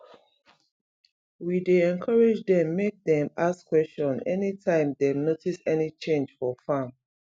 we dey encourage dem make dem ask question anytime dem notice any change for farm